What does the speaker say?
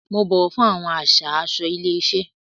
Mo bọwọ fún awọn àṣà aṣọ ilé iṣẹ.